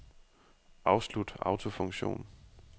Afslut autofunktion.